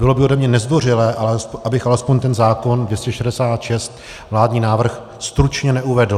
Bylo by ode mě nezdvořilé, abych alespoň ten zákon 266, vládní návrh, stručně neuvedl.